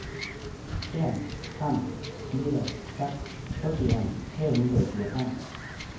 en fem fire seks førtien tre hundre og tjuefem